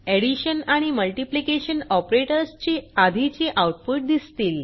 addition आणि multiplication operators ची आधीची आऊटपुट दिसतील